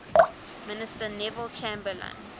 minister neville chamberlain